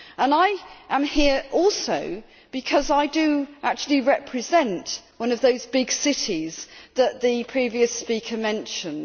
I am here also because I do actually represent one of those big cities that the previous speaker mentioned.